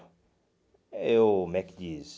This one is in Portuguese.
Eu, como é que diz?